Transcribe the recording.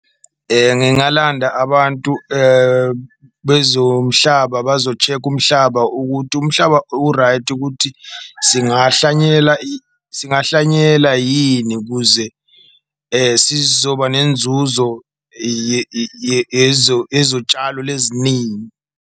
Ngingalanda abantu bezomhlaba bazo-check-a umhlaba ukuthi umhlaba u-right, ukuthi singahlanyela , singahlanyela yini kuze sizoba nenzuzo yezotshalo .